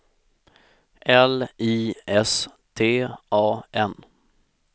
L I S T A N